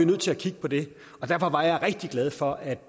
nødt til at kigge på det derfor var jeg rigtig glad for at